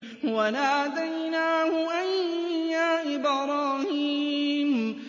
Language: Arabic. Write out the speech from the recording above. وَنَادَيْنَاهُ أَن يَا إِبْرَاهِيمُ